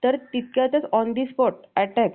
तर तितक्यातच on the spot attack